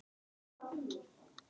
Því lengur því betra.